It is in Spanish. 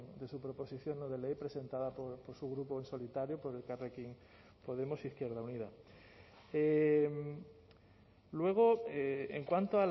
de su proposición no de ley presentada por su grupo en solitario por elkarrekin podemos izquierda unida luego en cuanto